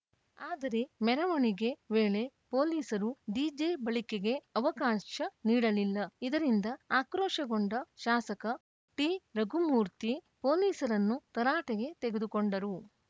ಆದರೆ ಮೆರವಣಿಗೆ ವೇಳೆ ಪೊಲೀಸರು ಡಿಜೆ ಬಳಕೆಗೆ ಅವಕಾಶ ನೀಡಲಿಲ್ಲ ಇದರಿಂದ ಆಕ್ರೋಶಗೊಂಡ ಶಾಸಕ ಟಿರಘುಮೂರ್ತಿ ಪೊಲೀಸರನ್ನು ತರಾಟೆಗೆ ತೆಗೆದುಕೊಂಡರು